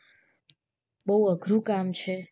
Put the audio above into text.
બોવ અઘરું કામ છે